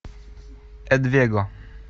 адвего